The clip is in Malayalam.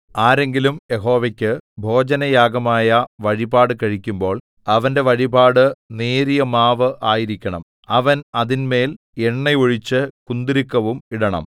ആരെങ്കിലും യഹോവയ്ക്കു ഭോജനയാഗമായ വഴിപാട് കഴിക്കുമ്പോൾ അവന്റെ വഴിപാട് നേരിയ മാവ് ആയിരിക്കണം അവൻ അതിന്മേൽ എണ്ണ ഒഴിച്ചു കുന്തുരുക്കവും ഇടണം